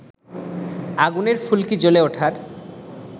আগুনের ফুলকি জ্বলে ওঠার